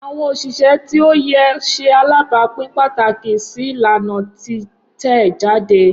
Awọn oṣiṣẹ ti oye ṣe alabapin pataki si ilana titẹjade.